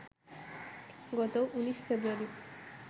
গত ১৯ ফেব্রুয়ারি